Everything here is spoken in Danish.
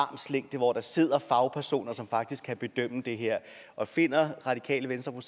hvor der sidder fagpersoner som faktisk kan bedømme det her og finder radikale venstre og